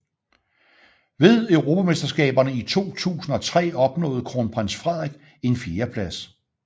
Ved Europamesterskaberne i 2003 opnåede Kronprins Frederik en fjerdeplads